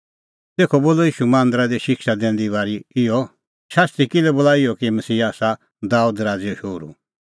तेखअ बोलअ ईशू मांदरा दी शिक्षा दैंदी बारी इहअ शास्त्री किल्है बोला इहअ कि मसीहा आसा दाबेद राज़ैओ शोहरू